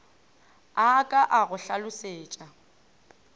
a ka a go hlalosetša